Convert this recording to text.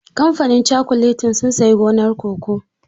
Kamfanin cakuletin sun sayi gonar cocoa.